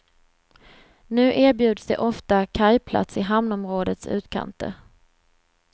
Nu erbjuds de ofta kajplats i hamnområdets utkanter.